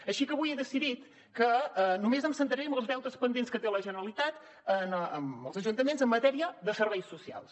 així que avui he decidit que només em centraré en els deutes pendents que té la generalitat amb els ajuntaments en matèria de serveis socials